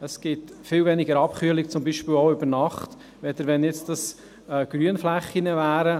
Es gibt viel weniger Abkühlung, zum Beispiel auch über Nacht, als wenn dies Grünflächen wären.